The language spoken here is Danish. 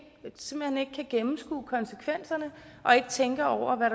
gennemskue konsekvenserne og ikke tænker over hvad